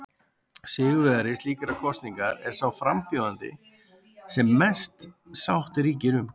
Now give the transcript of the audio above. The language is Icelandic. Sigurvegari slíkrar kosningar er sá frambjóðandi sem mest sátt ríkir um.